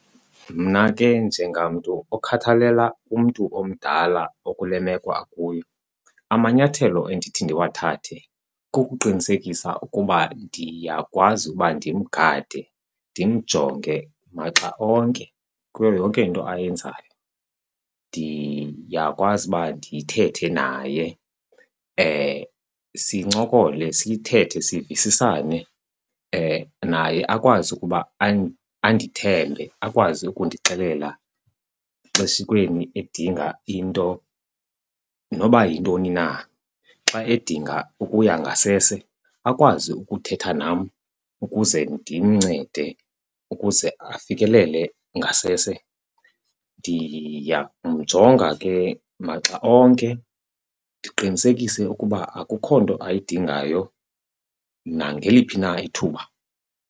Mna ke njengamntu okhathalela umntu omdala okule meko akuyo, amanyathelo endithi ndiwathathe kukuqinisekisa ukuba ndiyakwazi uba ndimgade ndimjonge maxa onke kuyo yonke into ayenzayo. Ndiyakwazi uba ndithethe naye sincokole, sithethe sivisisane naye akwazi ukuba andithembe akwazi ukundixelela xeshikweni edinga into noba yintoni na. Xa edinga ukuya ngasese akwazi ukuthetha nam ukuze ndimncede ukuze afikelele ngasese. Ndiya kumjonga ke maxa onke ndiqinisekise ukuba akukho nto ayidingayo nangeliphi na ithuba.